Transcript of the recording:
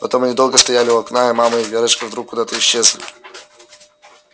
потом они долго стояли у окна и мама и верочка вдруг куда-то исчезли